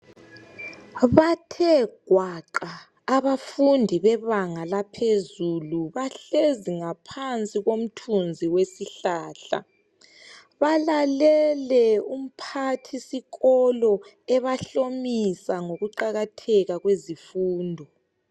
Bathe gwaqa abafundi bebanga laphezulu bahlezi ngaphansi komthunzi wesihlahla. Balalele umphathisikolo ebahlomisa ngokuqakatheka kwezifundo.